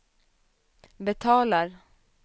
betalar